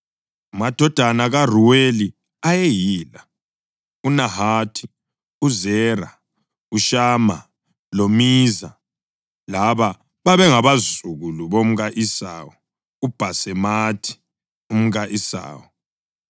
Amadodana kaRuweli ayeyila: uNahathi, uZera, uShama loMiza. Laba bebengabazukulu bomka-Esawu uBhasemathi umka-Esawu.